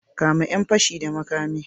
Kame yan fashi da makami.